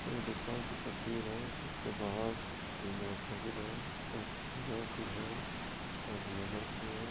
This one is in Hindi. ये दुकान की तस्वीर है जिसके बाहर तीन मोटरसाइकिल है एक हीरो की है एक ग्लैमर की है।